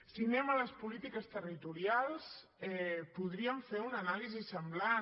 si anem a les polítiques territorials podríem fer una anàlisi semblant